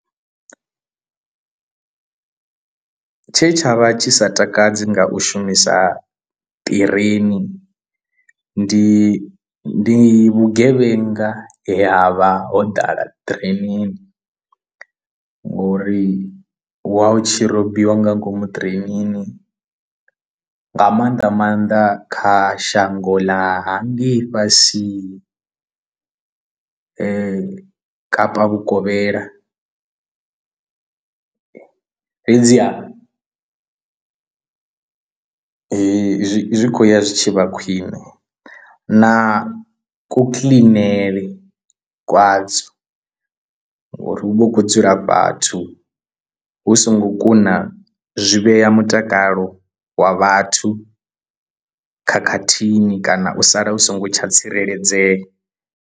Tshe tshavha tshi sa takadzi nga u shumisa ṱireni ndi ndi vhugevhenga ya vha ho ḓala ṱirenini ngori wa u tshi robiwa nga ngomu ṱirenini nga maanḓa maanḓa kha shango ḽa hangei fhasi Kapa vhukovhela, fhedziha zwi zwi khou ya zwi tshi vha khwine na ku kiḽinele kwadzo ngori hu vha hu khou dzula vhathu hu songo kuna zwi vhea mutakalo wa vhathu khakhathini kana u sala u songo tsha tsireledzea.